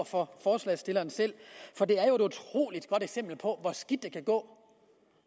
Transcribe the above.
for forslagsstillerne selv for det er et utrolig godt eksempel på hvor skidt det kan gå